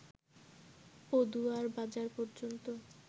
পদুয়ার বাজার পর্যন্ত